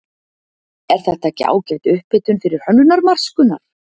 Er þetta ekki ágæt upphitun fyrir Hönnunarmars, Gunnar?